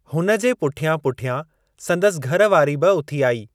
हुन जे पुठियां पुठियां संदसि घर वारी बि उथी आई।